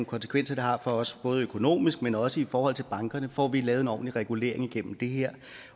konsekvenser det har for os både økonomisk men også i forhold til bankerne får vi lavet en ordentlig regulering igennem det her